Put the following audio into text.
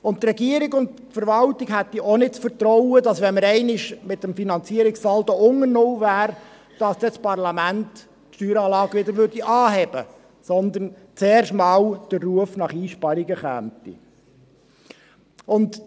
Die Regierung und die Verwaltung hätten auch nicht das Vertrauen, dass das Parlament die Steueranlage anheben würde, wenn wir einmal mit dem Finanzierungssaldo unter null wären, sondern dass zuerst der Ruf nach Einsparungen laut würde.